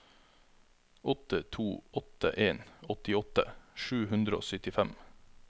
åtte to åtte en åttiåtte sju hundre og syttifem